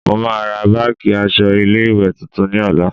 Mo máa ra báàjì aṣọ ilé ìwé tuntun ní ọ̀la.